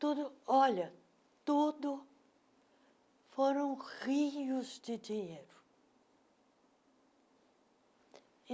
Tudo, olha, tudo foram rios de dinheiro.